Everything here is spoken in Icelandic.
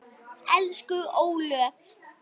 Elsku Ólöf.